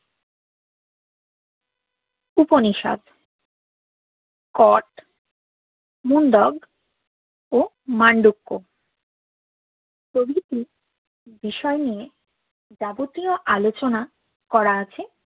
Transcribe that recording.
উপনিষদ কট মুন্ডক ও মান্ডক্যা প্রভৃতি বিষয় নিয়ে যাবতীয় আলোচনা করা আছে